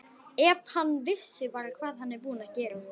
Ef hann vissi bara hvað hann er búinn að gera.